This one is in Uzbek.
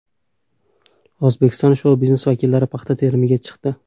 O‘zbekiston shou-biznesi vakillari paxta terimiga chiqdi.